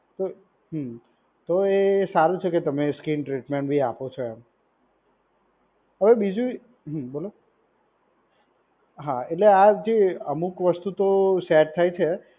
તો હમ્મ તો એ સારું છે કે તમે સ્કીન ટ્રીટમેન્ટ બી આપો છો એમ. હવે બીજું, હા બોલો. હા એટલે આ જે અમુક વસ્તુ તો સેટ થાય છે.